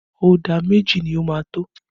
Ọ̀dà méjì ni ó máa tó?